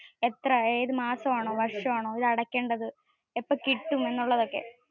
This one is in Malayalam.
എത്ര, ഏതു, മാസം ആണോ വര്ഷം ആണോ ഇത് അടയ്‌ക്കേണ്ടത്, എപ്പോ കിട്ടും എന്നുള്ളതൊക്കെ.